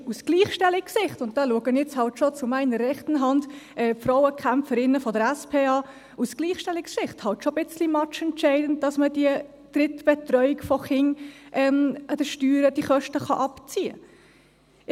Es ist aus Gleichstellungssicht – und da schaue ich dann halt schon zu meiner rechten Hand die Frauenkämpferinnen der SP an – halt schon ein bisschen matchentscheidend, dass man die Kosten für die Drittbetreuung von Kindern von den Steuern abziehen kann.